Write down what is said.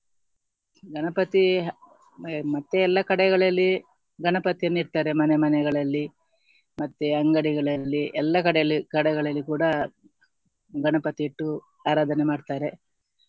ಗಣಪತಿ ಮತ್ತೆ ಎಲ್ಲ ಕಡೆಗಳಲ್ಲಿ ಗಣಪತಿನ ಇಟ್ತಾರೆ ಮನೆ ಮನೆಗಳಲ್ಲಿ ಮತ್ತೆ ಅಂಗಡಿಗಳಲ್ಲಿ ಎಲ್ಲ ಕಡೆಯಲ್ಲಿ ಕಡೆಗಳಲ್ಲಿ ಕೂಡ ಗಣಪತಿ ಇಟ್ಟು ಆರಾಧನೆ ಮಾಡ್ತಾರೆ